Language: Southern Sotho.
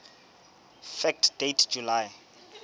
fact date july